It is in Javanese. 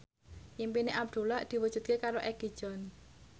impine Abdullah diwujudke karo Egi John